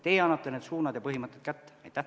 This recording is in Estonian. Teie annate need suunad ja põhimõtted kätte.